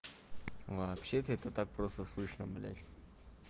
вообще-то это так просто слышно блядь